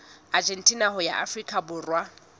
argentina ho ya afrika borwa